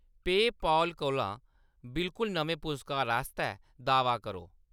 PayPal कोला बिलकुल नमें पुरस्कार आस्तै दाह्‌‌‌वा करो।